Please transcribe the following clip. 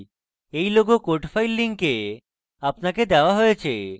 এই logo code files link আপনাকে দেওয়া হয়েছে